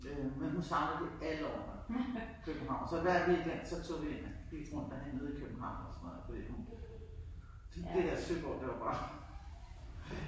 Øh men hun savnede det alle årene. København. Så hver weekend så tog vi ind gik sådan rundt og handlede i København fordi hun det der Søborg det var bare